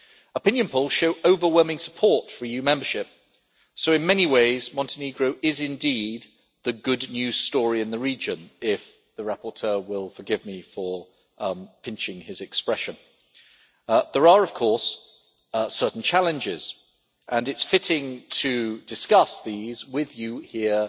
Opinion polls show overwhelming support for EU membership, so in many ways Montenegro is, indeed, the good news story in the region, if the rapporteur will forgive me for pinching his expression. There are, of course, certain challenges, and it is fitting to discuss these with you here